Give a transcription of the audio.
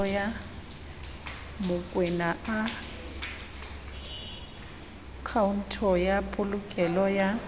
mokoena akhaonto ya polokelo ya